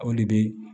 Aw de bɛ